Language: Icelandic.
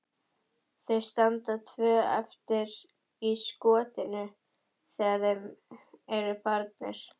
Þau standa tvö eftir í skotinu þegar þeir eru farnir.